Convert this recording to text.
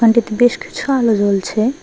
এটাতে বেশ কিছু আলো জ্বলছে।